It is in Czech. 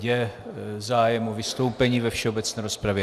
Je zájem o vystoupení ve všeobecné rozpravě?